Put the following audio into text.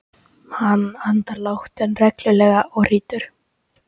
Hann andar lágt en reglulega og hrýtur.